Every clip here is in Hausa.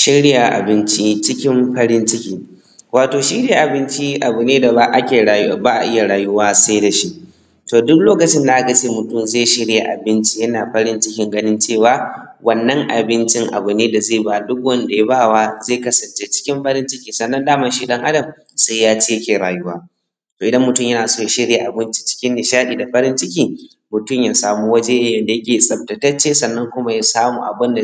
shirya abinci cikin farin ciki wato shirya abinci abu ne da ba a ake ba a iya rayuwa sai da shi to duk lokacin da aka ce mutum zai shirya abinci yana farin cikin cewa wannan abincin abu ne da zai ba duk wanda ya bawa zai kasance cikin farin ciki sannan daman shi ɗan adam sai ya ci yake rayuwa to idan mutum yana so ya shirya abinci cikin nishaɗi da farin ciki mutum ya samu waje ya nage tsaftatacce sannan kuma ya samu abinda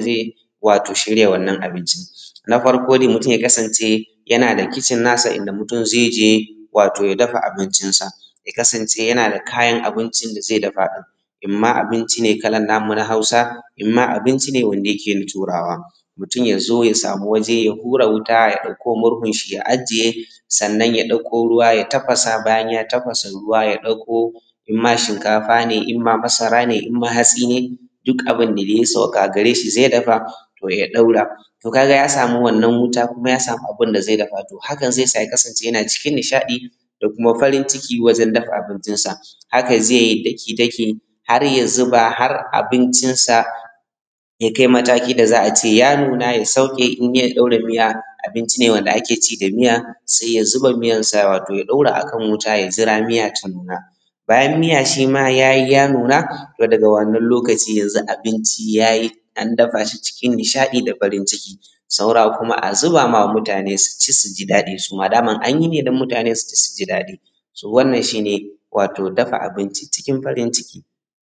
wato shirya wannan abincin na farko dai mutum ya kasance yana da kicin na sa inda mutum zai je wato ya dafa abincinsa ya kasance yana da kayan abincin da zai dafa ɗin imma abinci ne kalar namu na Hausa imma abinci ne wanda yake na turawa mutum ya zo ya samu waje ya hura wuta ya ɗauko murhun shi ya ajiye sannan ya ɗauko ruwa ya tafasa bayan ya tafasa ruwa ya ɗauko imma shinkafa ne imma masara ne imma hatsi ne duk abinda dai ya saukaka a gare shi zai dafa to ya ɗaura to kaga ya samu wannan wuta kuma ya samu abinda zai dafa to hakan zai sa ya kasance yana cikin nishaɗi da kuma farin ciki wajen dafa abincin sa hakan zai yi daki daki har ya zuba har abinʧinsa ya kai matakin da za`a ce ya nuna ya sauke in yai ɗora mija abinci ne wanda ake ci da miya sai ya zu:ba miyan sa wato ya ɗora akan wuta ya jira miya ta nuna bayan miya shi ma yayi ya nuna to daga wannan lokaci cikin yanzu abinci ya yi an dafa shi cikin nishaɗi da farin ciki saura kuma a zuba ma mutane su ci su ji daɗi suma daman an yi ne dan mutane su ci su ji daɗi so wannan shi ne wato dafa abinci cikin farin ciki